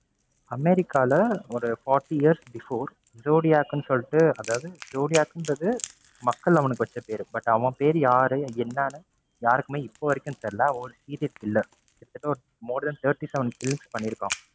அமெரிக்கால ஒரு forty years before zodiac னு சொல்லிட்டு அதாவது zodiac ன்றது மக்கள் அவனுக்கு வச்ச பேரு. but அவன் பேரு யாரு, என்னன்னு யாருக்குமே இப்போ வரைக்கும் தெரில. அவன் ஒரு serial killer more than thirty seven kills பண்ணிருக்கான்.